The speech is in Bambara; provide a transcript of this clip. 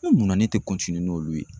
E munna ne tɛ n'olu ye